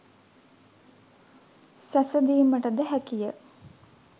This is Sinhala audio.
සැසඳීමට ද හැකිය.